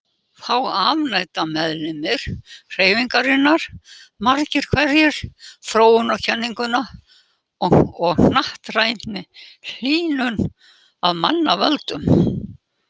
Þá afneita meðlimir hreyfingarinnar margir hverjir þróunarkenningunni og hnattrænni hlýnun af mannavöldum.